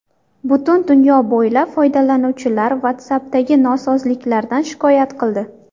Butun dunyo bo‘ylab foydalanuvchilar WhatsApp’dagi nosozliklardan shikoyat qildi.